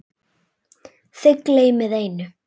Þið gleymið einu.